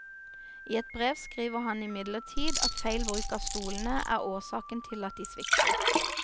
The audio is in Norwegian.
I et brev skriver han imidlertid at feil bruk av stolene er årsaken til at de svikter.